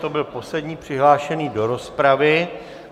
To byl poslední přihlášený do rozpravy.